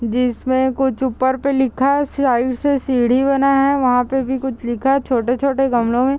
जिसमें कुछ ऊपर पे लिखा है साइड से सीढ़ी बना है वहाँ पे भी कुछ लिखा है छोटे-छोटे गमलों में --